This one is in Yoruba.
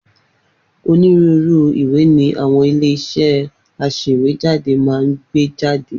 Onírúurú ìwé ni àwọn ilé-iṣẹ́ aṣèwéjádé máa ń gbé jáde.